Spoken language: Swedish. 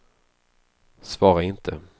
svara inte